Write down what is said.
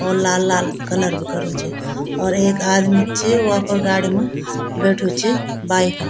और लाल लाल कलर भी कर्युं च और एक आदिम भी च वो अपर गाड़ी म बैठ्युं च बाइक म।